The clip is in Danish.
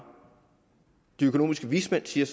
de økonomiske vismænd siger